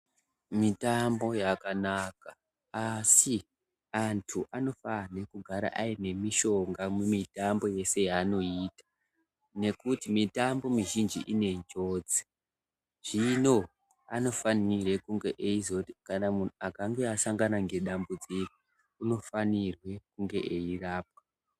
Mitambo yakanaka asi antu anofane kugara ayine mishonga mumitambo yese yaanoyita, nokuti mitambo mizhinji inenjodzi, zvino anofanirwe kunge eyizogara , munhu akange asangana nedambudziko unofanirwe kunge eyirapwa.